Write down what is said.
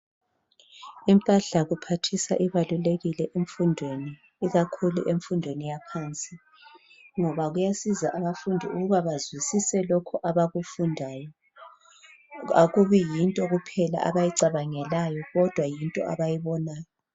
Impahla yokuphathisa ibalulekile kakhulu emfundweni yaphansi ngoba kuyasiza abafundi ukuba bazwisise lokho abakufundayo, akubi yinto kuphela abayicabangelayo kodwa yinto abayibonayo.